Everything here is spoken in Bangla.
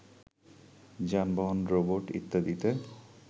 যানবাহন, রোবট, ইত্যাদিতে